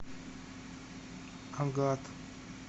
агат